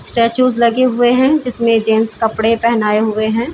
Statue लगे हुए है जिसमे जेंट्स कपडे पहनाए हुए है।